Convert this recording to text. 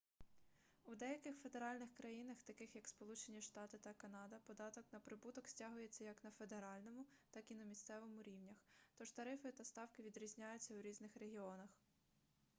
у деяких федеральних країнах таких як сполучені штати та канада податок на прибуток стягується як на федеральному так і на місцевому рівнях тож тарифи та ставки відрізняються у різних регіонах